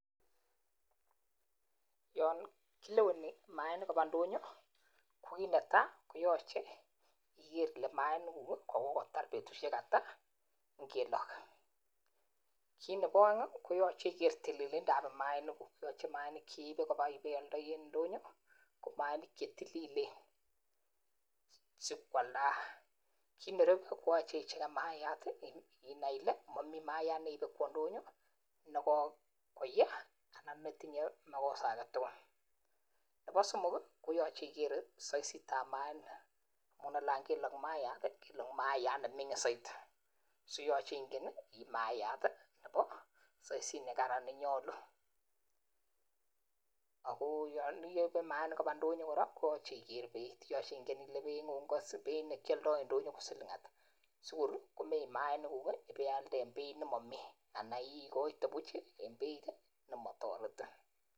Yon kileweni maanik kobaa ndonyo ko kit netaa koyoche igere ile maanikgug ko kokotar betushek at kongeten kelog. Kit nebo oeng koyoche iger tililindap maanikgug yoche maanik cheibe ibe oldoi en ndonyo ko maanik che tililen sib kwaldak kit nerubu koyoche icheken mayaat inai ile momii mayat neibe kwo ndonyo ne kokoye anan netinye makosa agetugul. Nebo somok koyoche iger soisitab maanik amun anan kelog mayat kelog mayat nemingin soiti so yoche inai iib mayat nebo soisit ne Karan anan ne nyoluu ako yon ibee maanik koraa kobaa ndonyo koyoche iger beit yoche ingen ile beingung ak beit ne kyoldo en ndonyo ko siling ata sigor komeib maanikgug ibe alde ak beit ne momii ana kor igoite buch nemo toretin